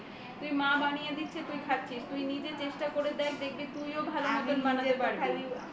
মা বানিয়ে দিচ্ছে তুই খাচ্ছিস তুই নিজে চেষ্টা করে দেখ দেখবি তুইও ভালো করে বানাতে পারবি